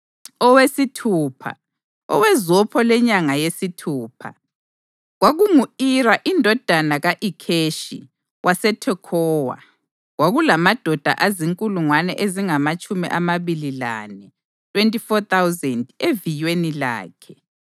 Owesithupha, owezopho lenyanga yesithupha, kwakungu-Ira indodana ka-Ikheshi waseThekhowa. Kwakulamadoda azinkulungwane ezingamatshumi amabili lane (24,000) eviyweni lakhe.